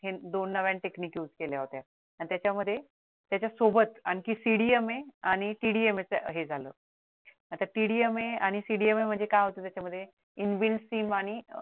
हे दोन नव्या technic use केल्या होत्या आणि त्याच्यामध्ये त्याच्यासोबत आणखीन CDMA आणि TDMA च हे झालं आता TDMA आणि CDMA च काय होतं त्याच्या मध्ये inbuild sim आणि